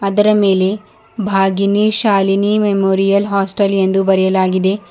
ಅದರ ಮೇಲೆ Bhagini Shalini memorial hostel ಎಂದು ಬರೆಯಲಾಗಿದೆ.